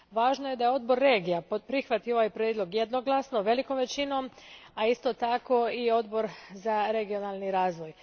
Važno je da je Odbor regija prihvatio ovaj prijedlog jednoglasno, velikom većinom, a isto tako i Odbor za regionalni razvoj.